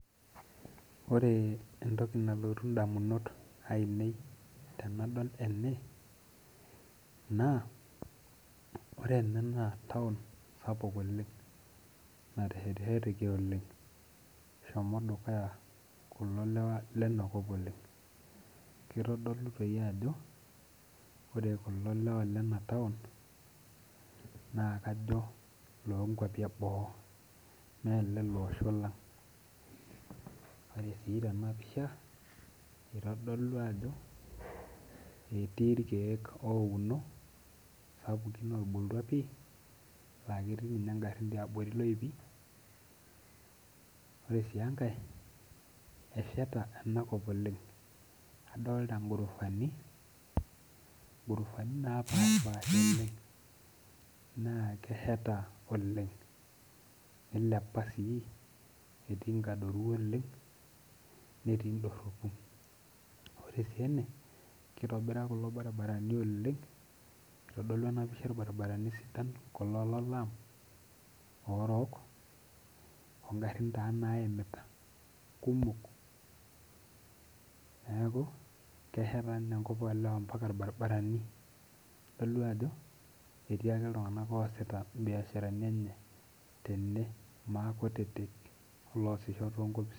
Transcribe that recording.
Ore entoki nalotu ndamunot ainei tenadol ena naa taon sapuk ena oleng nateshetisheteki oleng ,eshomo kulo lewa lena kop dukuya oleng .kitodolu doi ajo kajo ore kulo lewa lena taon naa loo kwapi ebo mee lele osho lang ,ore sii tenapisha ,eitodol ajo etii irkeek ouno sapukin otubulutua pi laa ketii ninye ngarin tiabori loipi ,ore sii enkae esheta ena kop oleng ,adolita sii ngorofani naasheta oleng etii nkadoru oleng netii ndoropu ,ore sii ene kitobira kulo baribarani oleng kitodolu ena pisha irbaribarani sidan oleng kulo lolaam orook ingarin taa naimita kumok neeku kesheta ninye enkop oolewa mpaka irbaribarani idol ake ajo etii ake iltunganak oosita biasharani enye tenebo maakutitik oloosita tonkopisini.